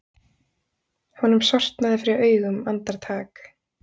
Honum sortnaði fyrir augum andartak.